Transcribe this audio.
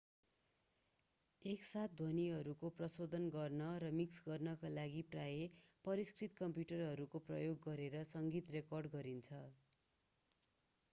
एकसाथ ध्वनिहरू प्रशोधन गर्न र मिक्स गर्नका लागि प्रायः परिष्कृत कम्प्युटरहरूको प्रयोग गरेर सङ्गीत रेकर्ड गरिन्छ